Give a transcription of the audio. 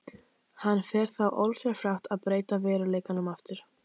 Hann fer þá ósjálfrátt að breyta veruleikanum aftur.